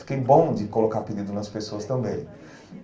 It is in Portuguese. Fiquei bom de colocar apelido nas pessoas também.